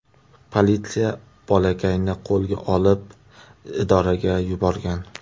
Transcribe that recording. Politsiya bolakayni qo‘lga olib idoraga yuborgan.